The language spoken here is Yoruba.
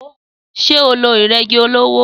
Sé o lo ìrégi olówó?